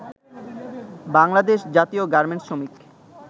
বাংলাদেশ জাতীয় গার্মেন্টস শ্রমিক